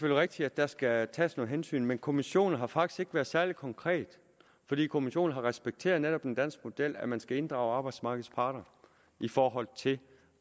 rigtigt at der skal tages nogle hensyn men kommissionen har faktisk ikke været særlig konkret fordi kommissionen netop har respekteret den danske model nemlig at man skal inddrage arbejdsmarkedets parter i forhold til